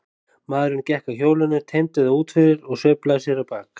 Maðurinn gekk að hjólinu, teymdi það út fyrir og sveiflaði sér á bak.